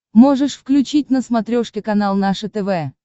можешь включить на смотрешке канал наше тв